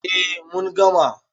A mun gama